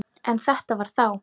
En þetta var þá.